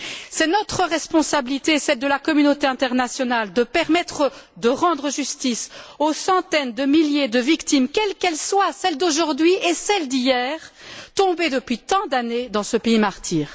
C'est notre responsabilité et celle de la communauté internationale de permettre de rendre justice aux centaines de milliers de victimes, quelles qu'elles soient celles d'aujourd'hui et celles d'hier tombées depuis tant d'années dans ce pays martyr.